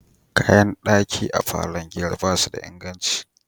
Kayan daki a falon giyar ba su da inganci.